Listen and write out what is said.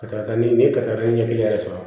Ka taa ni n ye katara ɲɛ kelen yɛrɛ sɔrɔ